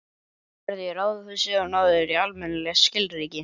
Farðu í ráðhúsið og náðu þér í almennileg skilríki.